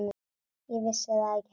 Ég vissi það ekki heldur.